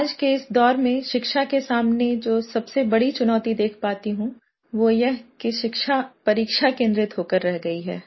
आज के इस दौर में शिक्षा के सामने जो सबसे बड़ी चुनौती देख पाती हूँ वो यह कि शिक्षा परीक्षा केन्द्रित हो कर रह गयी है